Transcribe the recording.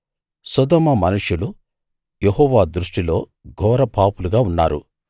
సొదొమ మనుషులు యెహోవా దృష్టిలో ఘోర పాపులుగా ఉన్నారు